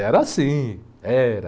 Era assim, era.